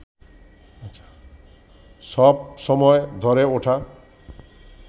সব সময় ধরে ওঠা